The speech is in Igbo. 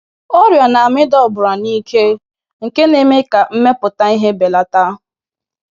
Ọrịa na-amịda ọbara na ike nke na-eme ka mmepụta ihe belata.